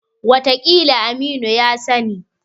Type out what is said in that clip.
Wataƙila Aminu ya sani.